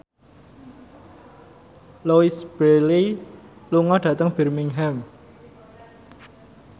Louise Brealey lunga dhateng Birmingham